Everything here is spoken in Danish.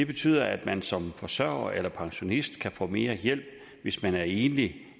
betyder at man som forsørger eller pensionist kan få mere hjælp hvis man er enlig